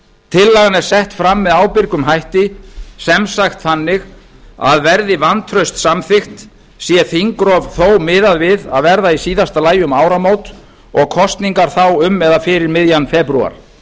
tillagan er sett fram með ábyrgum hætti sem sagt þannig að verði vantraust samþykkt sé miðað við að þingrof verði í síðasta lagi um áramót og kosningar þá fyrir eða um miðjan febrúar